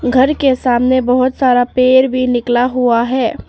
घर के सामने बहुत सारा पेड़ भी निकला हुआ है।